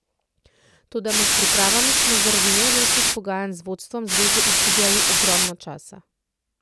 Toda med pripravami smo zaradi nenehnih pogajanj z vodstvom zveze izgubljali ogromno časa.